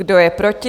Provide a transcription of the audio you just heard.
Kdo je proti?